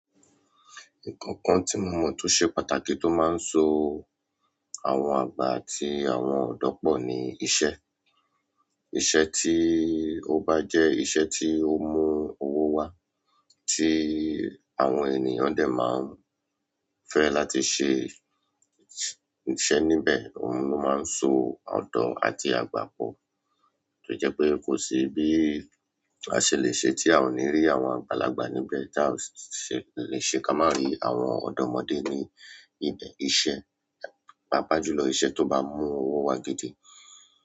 Nǹkan kan tí mo mọ̀ tó ṣe pàtàkì tó máa ń so àwọn àgbà àti àwọn ọ̀dọ́ pọ̀ ni iṣẹ́. Iṣẹ́ tí ó bá jẹ́ iṣẹ́ tí ó mú owó wá, tí àwọn ènìyàn dẹ̀ máa ń fẹ́ láti ṣe iṣẹ́ níbẹ̀, òhun ló máa ń so ọ̀dọ́ àti àgbà pọ̀. Tó jẹ́ pé kò sí bí a ṣe le ṣe tí a ò ní rí àwọn àgbàlagbà níbẹ̀ tí a ò ṣe le ṣe ká má rí àwọn ọ̀dọ́mọdé ní ibẹ̀. Iṣẹ́, pàápàá jùlọ iṣẹ́ tó bá mú owó wá gidi.